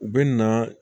U bɛ na